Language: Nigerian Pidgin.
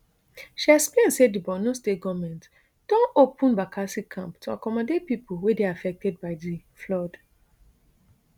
she explain say di borno state goment don open bakassi camp to accomodate pipo wey dey affected by di flood